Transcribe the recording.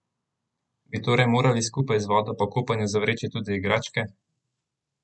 Bi torej morali skupaj z vodo po kopanju zavreči tudi igračke?